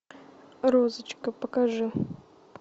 розочка покажи